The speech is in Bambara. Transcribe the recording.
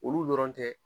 Olu dɔrɔn tɛ